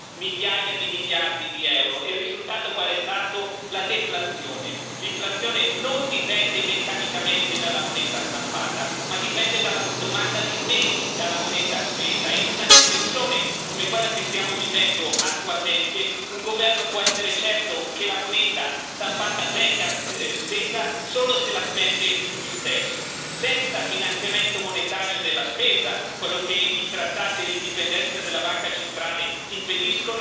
L'inflazione non dipende meccanicamente dalla moneta stampata, ma dipende dalla domanda di beni, dalla moneta spesa, e in una depressione come quella che stiamo vivendo attualmente un governo può essere certo che la moneta stampata venga spesa solo se la spende lui stesso. Senza finanziamento monetario della spesa, che i trattati e l'indipendenza della Banca centrale impediscono, sarà impossibile rianimare l'economia degli Stati dell'eurozona.